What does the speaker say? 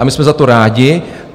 A my jsme za to rádi.